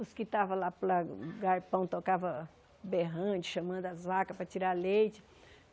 Os que estavam lá para o lado do galpão tocava berrante, chamando as vacas para tirar leite.